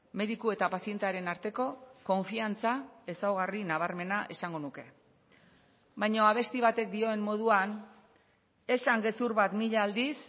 mediku eta pazientearen arteko konfiantza ezaugarri nabarmena esango nuke baina abesti batek dioen moduan esan gezur bat mila aldiz